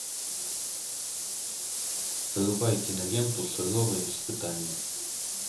врубай киноленту суровое испытание